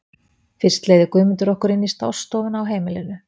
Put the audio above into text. Fyrst leiðir Guðmundur okkur inn í stássstofuna á heimilinu.